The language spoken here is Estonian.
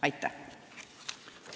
Aitäh!